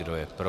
Kdo je pro?